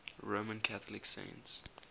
roman catholic saints